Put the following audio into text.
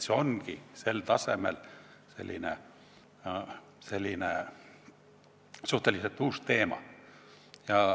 See ongi sel tasemel selline suhteliselt uus teema.